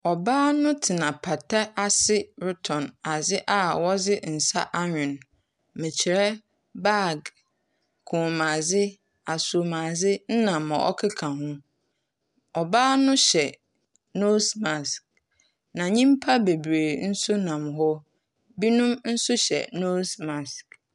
Ɔbaa no tsena apata ase rotɔn adze a wɔdze nsa anwen. Merekyerɛ bag, kɔmmuadze, asommadze ne ma ɔkeka ho. Ɔbaa no hyɛ nose mask, na nyimpa bebree nso nam hɔ. Ebinom nso hyɛ nose mask.